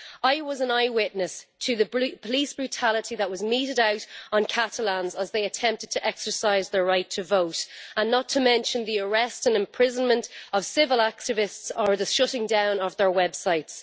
I was an eyewitness to the police brutality that was meted out on Catalans as they attempted to exercise their right to vote, not to mention the arrest and imprisonment of civil activists or the shutting-down of their websites.